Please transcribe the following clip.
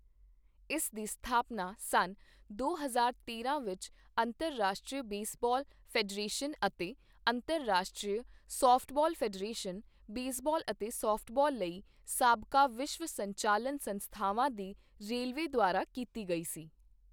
ਇਸ ਦੀ ਸਥਾਪਨਾ ਸੰਨ ਦੋ ਹਜ਼ਾਰ ਤੇਰਾਂ ਵਿੱਚ ਅੰਤਰਰਾਸ਼ਟਰੀ ਬੇਸਬਾਲ ਫੈਡਰੇਸ਼ਨ ਅਤੇ ਅੰਤਰਰਾਸ਼ਟਰੀ ਸਾਫਟਬਾਲ ਫੈਡਰੇਸ਼ਨ, ਬੇਸਬਾਲ ਅਤੇ ਸਾਫਟਬਾਲ ਲਈ ਸਾਬਕਾ ਵਿਸ਼ਵ ਸੰਚਾਲਨ ਸੰਸਥਾਵਾਂ ਦੇ ਰਲੇਵੇਂ ਦੁਆਰਾ ਕੀਤੀ ਗਈ ਸੀ।